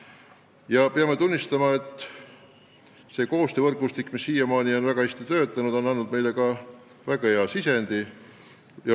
Me peame tunnistama, et see koostöövõrgustik, mis siiamaani on väga hästi töötanud, on andnud meile ka väga hea sisendi.